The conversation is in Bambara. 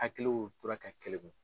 Hakiliw tora ka keleku.